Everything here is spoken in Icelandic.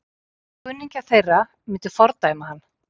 Kunningjar þeirra myndu fordæma hann.